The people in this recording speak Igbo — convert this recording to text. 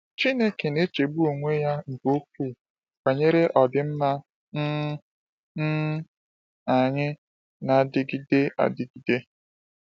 Chineke na-echegbu onwe ya nke ukwuu banyere ọdịmma um um anyị na-adịgide adịgide.